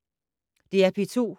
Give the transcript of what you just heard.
DR P2